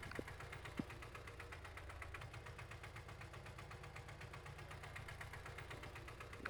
Abuuritaanka garoomo loo dhan yahay waxay kobcisaa is dhexgalka bulshada ee carruurta dhexdooda.